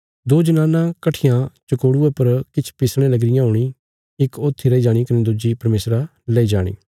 दो जनानां कट्ठियां चकोड़ुये पर किछ पिसणे लगी रियां हूणी इक ऊथी रैई जाणी कने दुज्जी परमेशरा लेई जाणी